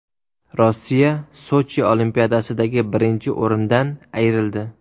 Rossiya Sochi Olimpiadasidagi birinchi o‘rindan ayrildi.